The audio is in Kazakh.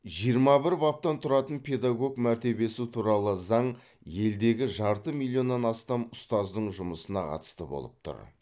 жиырма бір баптан тұратын педагог мәртебесі туралы заң елдегі жарты миллионнан астам ұстаздың жұмысына қатысты болып тұр